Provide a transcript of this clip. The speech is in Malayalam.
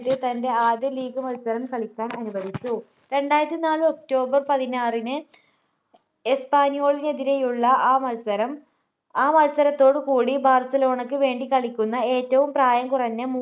അദ്ദേഹത്തെ തൻ്റെ ആദ്യ league മത്സരം കളിക്കാൻ അനുവദിച്ചു രണ്ടായിരത്തിനാല് october പതിനാറിന് എസ്പാന്യോളിനെതിരെയുള്ള ആ മത്സരം ആ മത്സരത്തോടു കൂടി ബാർസലോണക്ക് വേണ്ടി കളിക്കുന്ന ഏറ്റവും പ്രായം കുറഞ്ഞ